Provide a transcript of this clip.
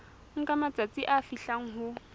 nka matsatsi a fihlang ho